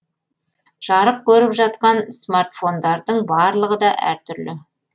жарық көріп жатқан смартфондардың барлығы да әр түрлі